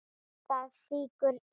Það fýkur í Hemma.